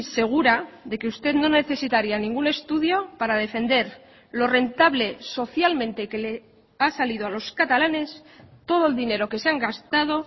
segura de que usted no necesitaría ningún estudio para defender lo rentable socialmente que le ha salido a los catalanes todo el dinero que se han gastado